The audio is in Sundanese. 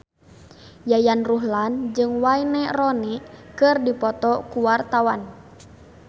Yayan Ruhlan jeung Wayne Rooney keur dipoto ku wartawan